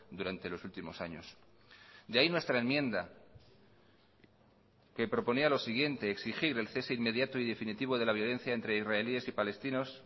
durante los últimos años de ahí nuestra enmienda que proponía lo siguiente exigir el cese inmediato y definitivo de la violencia entre israelíes y palestinos